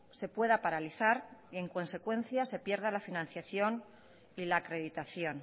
se pueda paralizar y en consecuencia se pierda la financiación y la acreditación